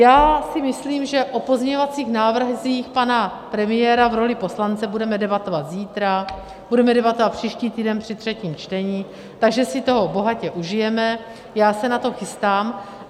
Já si myslím, že o pozměňovacích návrzích pana premiéra v roli poslance budeme debatovat zítra, budeme debatovat příští týden při třetím čtení, takže si toho bohatě užijeme, já se na to chystám.